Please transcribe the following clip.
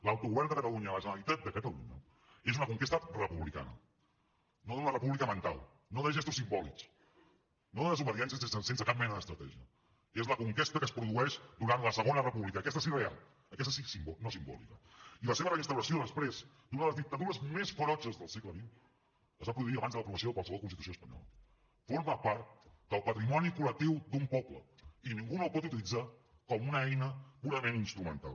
l’autogovern de catalunya la generalitat de catalunya és una conquesta republicana no d’una república mental no de gestos simbòlics no de desobediències sense cap mena d’estratègia és la conquesta que es produeix durant la segona república aquesta sí real aquesta no simbòlica i la seva reinstauració després d’una de les dictadures més ferotges del segle xxqualsevol constitució espanyola forma part del patrimoni col·lectiu d’un poble i ningú no el pot utilitzar com a una eina purament instrumental